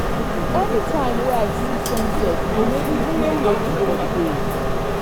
anytime wey i see sunset e dey make me feel grateful for di day.